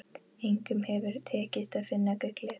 Engum hefur tekist að finna gullið.